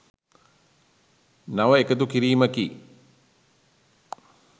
නව එකතු කිරීමකි